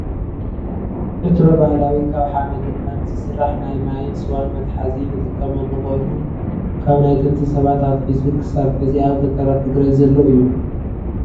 ዕትሮ ባህላዊ ካብ ሓመድን ማይን ዝስራሕ ናይ ማይን ስዋን መትሓዚ ንጥቀመሉ ኮይኑ ካብ ናይ ጥንቲ ሰባት ኣትሒዙ ክሳብ ሕዚ ኣብ ገጠራት ትግራይ ዘሎ እዩ።